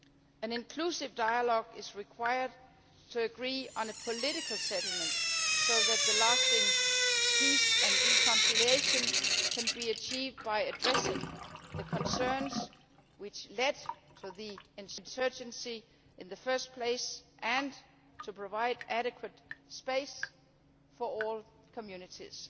An inclusive dialogue is required to agree on a political settlement so that lasting peace and reconciliation can be achieved by addressing the concerns which led to the insurgency in the first place, and to provide adequate space for all communities.